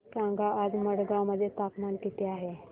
सांगा आज मडगाव मध्ये तापमान किती आहे